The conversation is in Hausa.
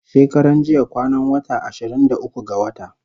Shekaran jiya kwanan wata ashirin da uku ga wata